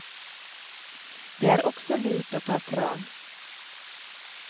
Det er også lurt å ta tran.